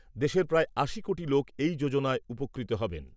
দেশের প্রায় আশি কোটি লোক এই যোজনায় উপকৃত হবেন।